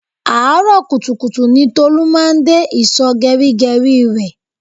Àárọ̀ kùtùkùtù ní Tolu máa ń dé ìsò geri geri rẹ